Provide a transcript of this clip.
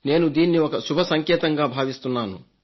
నేను దీన్ని ఒక శుభ సంకేతంగా భావిస్తున్నాను